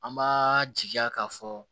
An b'a jigiya k'a fɔ